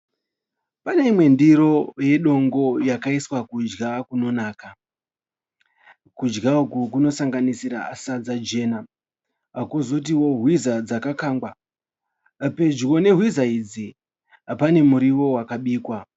Pane imwe ndiro yedongo yakaiswa kudya kunonaka. Kudya uku kunosanganisira sadza jena kozotio hwiza dzakakangwa. Pedyo nehwiza idzi pane murio wakabikwa.